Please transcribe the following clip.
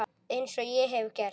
Eins og ég hef gert.